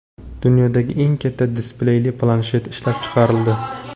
Dunyodagi eng katta displeyli planshet ishlab chiqarildi.